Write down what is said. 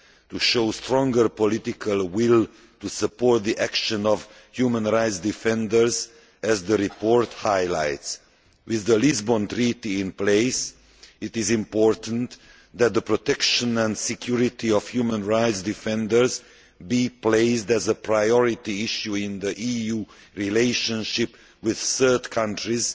to show stronger political will to support the action of human rights defenders, as the report highlights. With the Lisbon Treaty in place, it is important that the protection and security of human rights defenders be made a priority issue in the EU's relationship with third countries